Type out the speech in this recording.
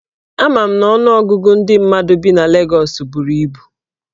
Ama m na ọnụọgụgụ ndị mmadụ bi na Legọs buru ibu.